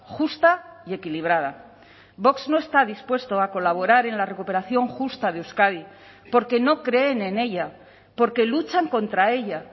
justa y equilibrada vox no está dispuesto a colaborar en la recuperación justa de euskadi porque no creen en ella porque luchan contra ella